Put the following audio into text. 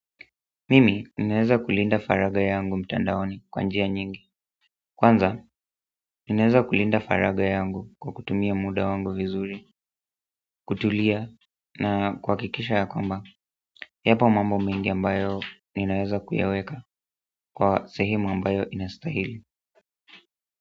Mimi, ninaweza kulinda faragha yangu mtandaoni kwa njia nyingi kwanza, ninaweza kulinda faragha yangu kwa kutumia muda wangu vizuri kutulia na kuhakikisha ya kwamba yapo mambo mengi ambayo ninaeza kuyaweka kwa sehemu ambayo inastahili.